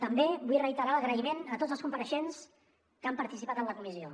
també vull reiterar l’agraïment a tots els compareixents que han participat en la comissió